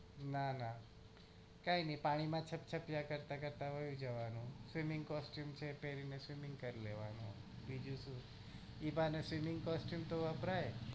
ના ના કઈ નઈ પાણી માં છબછબીયા કરતા કરતા વયુ જવાન swimming costume છે એટલે એમાં swimming કરી લેવાન બીજું શું એ બાને swimming costume તો વપરાય